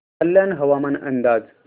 कल्याण हवामान अंदाज